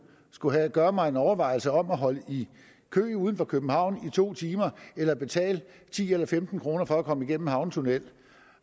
skulle gøre mig en overvejelse om enten at holde i kø uden for københavn i to timer eller betale ti eller femten kroner for at komme igennem en havnetunnel